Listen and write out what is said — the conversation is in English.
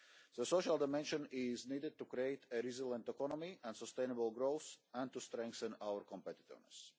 The social dimension is needed to create a resilient economy and sustainable growth, and to strengthen our competitiveness.